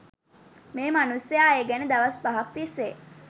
මේ මනුස්සයා එ ගැන දවස් පහක් තිස්සේ